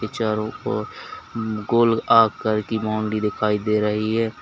चारों ओर गोल आकर की बाउंड्री दिखाई दे रही है।